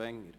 der SiK.